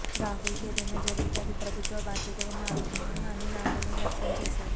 రాహుల్కు ఏదైనా జరిగితే అది ప్రభుత్వ బాధ్యతగా మారుతుందని అనిల్ ఆందోళన వ్యక్తం చేశారు